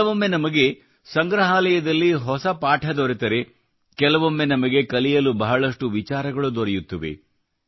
ಕೆಲವೊಮ್ಮೆ ನಮಗೆ ಸಂಗ್ರಹಾಲಯದಲ್ಲಿ ಹೊಸ ಪಾಠ ದೊರೆತರೆ ಕೆಲವೊಮ್ಮೆ ನಮಗೆ ಕಲಿಯಲು ಬಹಳಷ್ಟು ವಿಚಾರಗಳು ದೊರೆಯುತ್ತವೆ